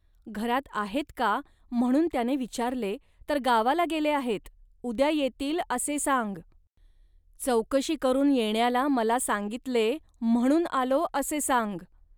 घरात आहेत का, म्हणून त्याने विचारले, तर गावाला गेले आहेत, उद्या येतील, असे सांग. चौकशी करून येण्याला मला सांगितले, म्हणून आलो, असे सांग